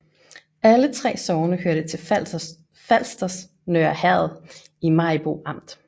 Alle 3 sogne hørte til Falsters Nørre Herred i Maribo Amt